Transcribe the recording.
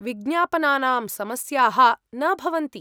विज्ञापनानां समस्याः न भवन्ति।